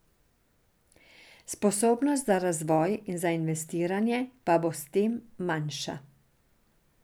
Sposobnost za razvoj in za investiranje pa bo s tem manjša.